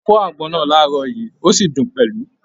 A fọ́ àgbọn náà láàárọ̀ yìí, o sí dùn pẹlú